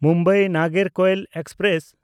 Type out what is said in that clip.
ᱢᱩᱢᱵᱟᱭ–ᱱᱟᱜᱚᱨᱠᱳᱭᱤᱞ express